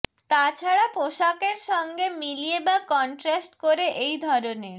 তাছাড়া পোশাকের সঙ্গে মিলিয়ে বা কনট্রাস্ট করে এই ধরনের